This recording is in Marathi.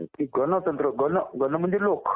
गणतंत्र. गण म्हणजे लोक